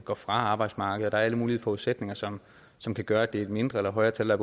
går fra arbejdsmarkedet og der er alle mulige forudsætninger som som kan gøre at det er et mindre eller højere tal der